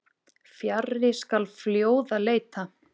Fjarri skal fljóða leita.